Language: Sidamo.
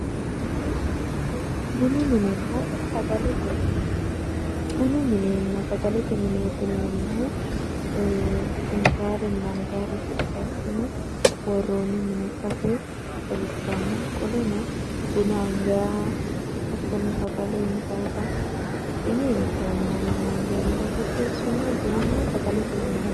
bunu minenna sagalete mine bunu minena sagalete mine yineemmohu intayrenna angayre qixeessine worroni mine ikkasi xawissanno qoleno buna angayha sagale intayta hidhine inteemmorenna angeemmore qixeessine bununna sagalete mine yinay